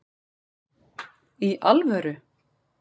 Í ALVÖRU??